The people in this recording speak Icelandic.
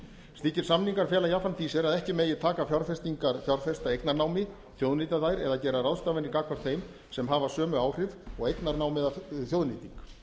slíkir samningar fela jafnframt í sér að ekki megi taka fjárfestingar fjárfesta eignarnámi þjóðnýta þær eða gera ráðstafanir gagnvart þeim sem hafa sömu áhrif og eignarnám eða þjóðnýting